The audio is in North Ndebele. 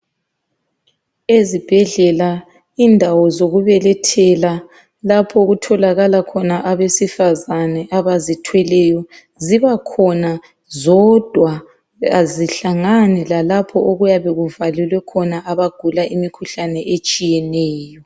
Ezibhedlela indawo zokubelethela lapho okutholakala khona abesifazane abazithweleyo zibakhona zodwa azihlangani lalapho okuyabe kuvalelwe khona abagula imikhuhlane etshiyeneyo.